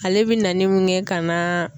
Ale bɛ nani mun kɛ ka na